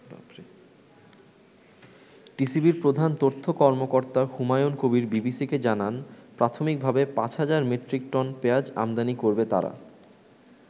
টিসিবির প্রধান তথ্য কর্মকর্তা হুমায়ন কবির বিবিসিকে জানান, প্রাথমিক ভাবে ৫০০০ মেট্রিক টন পেয়াজ আমদানি করবে তারা।